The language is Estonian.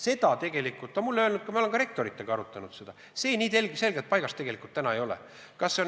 See tegelikult, nagu mulle on öeldud – ma olen ka rektoritega seda arutanud –, päris selgelt paigas ei ole.